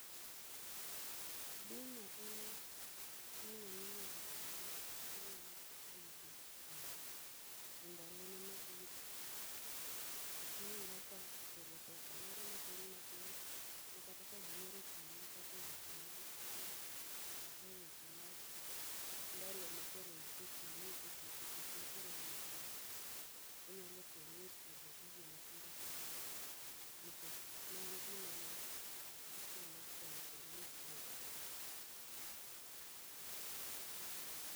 Bima en gino minyalo ti godo manyalo rito ng'ato e ndalo ne mabiro. Oting'o kaka chulo pesa moro matin matin. Ma kata ka gimoro otimi kate weche mag tuo, kate weche mag ndalo ma koro ise ti misetieko tich ma koro in dala. Onyalo konyi e chulo gigo ma tindo tindo, nikech ne en gima ne ichulo chon kendo nitiyo godo chon.